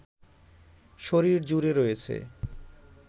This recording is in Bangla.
শরীর জুড়ে রয়েছে